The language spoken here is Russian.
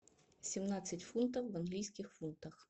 семнадцать фунтов в английских фунтах